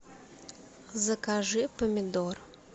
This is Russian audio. закажи помидор